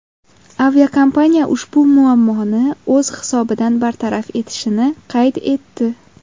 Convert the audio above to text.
Aviakompaniya ushbu muammoni o‘z hisobidan bartaraf etishini qayd etdi.